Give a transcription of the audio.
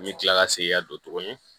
N bɛ kila ka segin ka don tuguni